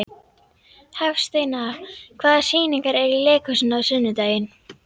Hafsteina, hvaða sýningar eru í leikhúsinu á sunnudaginn?